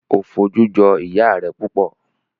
O foju joi iya rẹ pupọ